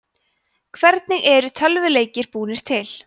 hvernig eru tölvuleikir búnir til